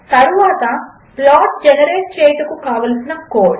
తరువాత plot generate చేయుటకు కావలసిన కోడ్